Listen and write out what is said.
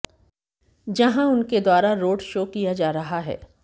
जहां उनके द्वारा रोड शो किया जा रहा है